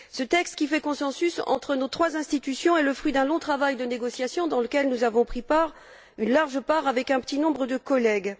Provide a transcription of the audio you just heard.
Ce texte qui fait consensus entre nos trois institutions est le fruit d'un long travail de négociation dans lequel nous avons pris une large part avec un petit nombre de collègues.